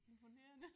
Imponerende